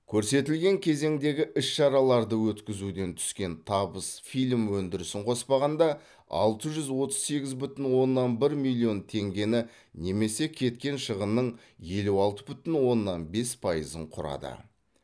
көрсетілген кезеңдегі іс шараларды өткізуден түскен табыс фильм өндірісін қоспағанда алты жүз отыз сегіз бүтін оннан бір миллион теңгені немесе кеткен шығынның елу алты бүтін оннан бес пайызын құрады